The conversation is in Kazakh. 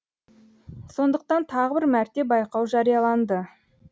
сондықтан тағы бір мәрте байқау жарияланды